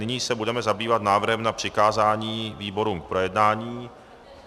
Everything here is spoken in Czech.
Nyní se budeme zabývat návrhem na přikázání výborům k projednání.